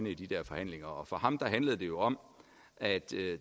i de forhandlinger og for ham handlede det jo om at